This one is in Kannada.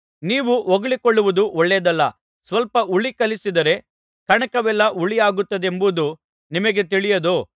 ನೀವು ಹೊಗಳಿಕೊಳ್ಳುವುದು ಒಳ್ಳೆಯದಲ್ಲ ಸ್ವಲ್ಪ ಹುಳಿ ಕಲಸಿದರೆ ಕಣಕವೆಲ್ಲಾ ಹುಳಿಯಾಗುತ್ತದೆಂಬುದು ನಿಮಗೆ ತಿಳಿಯದೋ